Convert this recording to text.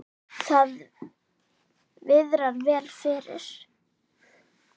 Það viðrar vel fyrir